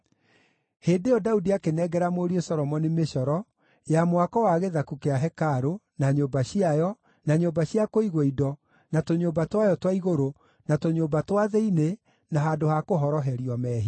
Hĩndĩ ĩyo Daudi akĩnengera mũriũ Solomoni mĩcoro ya mwako wa gĩthaku kĩa hekarũ, na nyũmba ciayo, na nyũmba cia kũigwo indo, na tũnyũmba twayo twa igũrũ, na tũnyũmba twa thĩinĩ, na handũ ha kũhoroherio mehia.